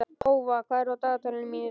Tófa, hvað er á dagatalinu mínu í dag?